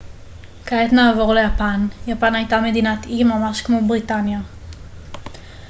כעת נעבור ליפן יפן הייתה מדינת אי ממש כמו בריטניה